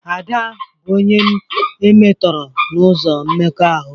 Ada bụ onye e metọrọ n'ụzọ mmekọahụ